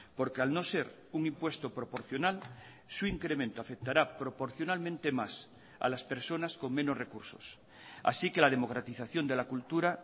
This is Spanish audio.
porque al no ser un impuesto proporcional su incremento afectará proporcionalmente más a las personas con menos recursos así que la democratización de la cultura